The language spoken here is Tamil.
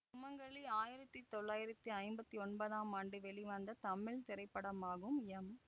சுமங்கலி ஆயிரத்தி தொள்ளாயிரத்தி ஐம்பத்தி ஒன்பதாம் ஆண்டு வெளிவந்த தமிழ் திரைப்படமாகும் எம்